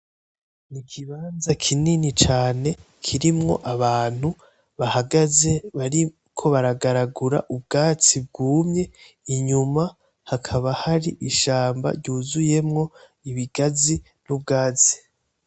N’ikibanza kinini cane kirimwo abantu bahagaze bariko baragaragura ubwatsi bwumye inyuma hakaba hari ishamba ryuzuyemwo ibigazi n’ubwatsi.